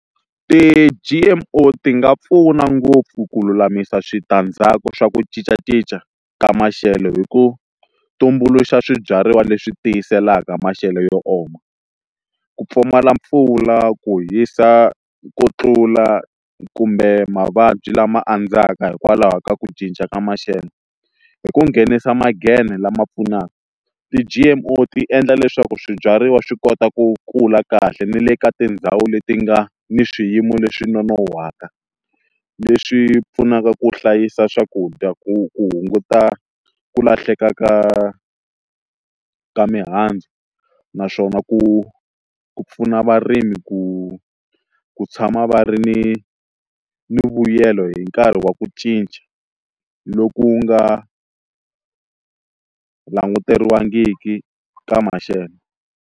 Ti-G_M_O ti nga pfuna ngopfu ku lulamisa switandzhaku swa ku cincacinca ka maxelo hi ku tumbuluxa swibyariwa leswi tiyiselaka maxelo yo oma ku pfumala mpfula ku hisa ku tlula kumbe mavabyi lama andzaka hikwalaho ka ku cinca ka maxelo hi ku nghenisa lama pfunaka ti-G_M_O ti endla leswaku swibyariwa swi kota ku kula kahle ni le ka tindhawu leti nga ni swiyimo leswi nonohaka leswi pfunaka ku hlayisa swakudya ku ku hunguta ku lahleka ka ka mihandzu naswona ku ku pfuna varimi ku ku tshama va ri ni ni vuyelo hi nkarhi wa ku cinca loku nga languteriwangiki ka maxelo.